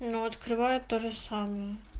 но открывает тоже самое